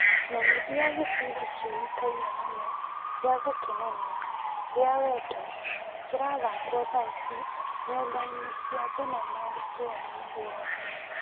Menyithia gĩbindi kĩũkaine mũno gĩa gũkenania gĩa wendo kĩrathakwo thaa ici nyũmba-inĩ cia thinema gĩcũa-inĩ guothe.